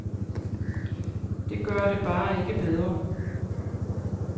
Det gør det bare ikke bedre.